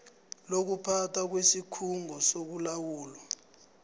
lokuphathwa kwesikhungo sokulawulwa